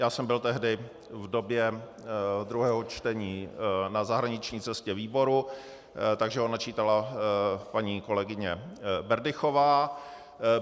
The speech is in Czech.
Já jsem byl tehdy v době druhého čtení na zahraniční cestě výboru, takže ho načítala paní kolegyně Berdychová.